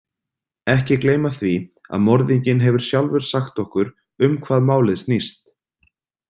Ekki gleyma því að morðinginn hefur sjálfur sagt okkur um hvað málið snýst.